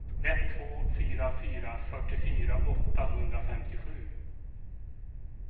ett två fyra fyra fyrtiofyra åttahundrafemtiosju